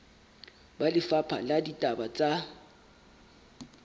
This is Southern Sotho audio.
ba lefapha la ditaba tsa